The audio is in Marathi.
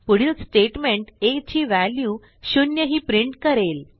पुढील स्टेटमेंट aची व्हॅल्यू 0 ही प्रिंट करेल